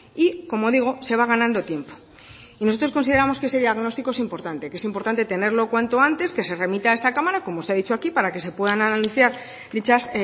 y como digo se va ganando tiempo nosotros consideramos que ese diagnóstico es importante que es importante tenerlo cuanto antes que se remita a esta cámara y como se ha dicho aquí para que se puedan anunciar dichas